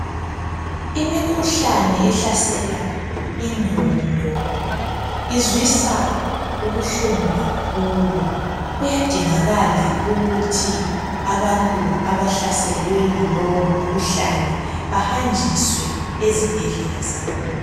Imikhuhlane ehlasela ingqondo izwisa ubuhlungu kakhulu kuyadingakala ukuthi abantu abahlaselwe yilowo mkhuhlane bahanjiswe ezibhedlela zakhona